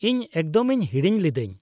-ᱤᱧ ᱮᱠᱫᱚᱢᱤᱧ ᱦᱤᱲᱤᱧ ᱞᱤᱫᱟᱹᱧ ᱾